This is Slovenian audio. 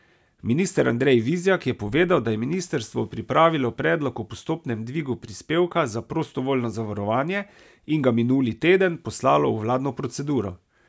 Minister Andrej Vizjak je povedal, da je ministrstvo pripravilo predlog o postopnem dvigu prispevka za prostovoljno zavarovanje in ga minuli teden poslalo v vladno proceduro.